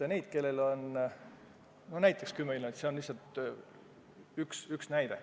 Inimesed, kellel on 10 miljonit, on lihtsalt üks näide.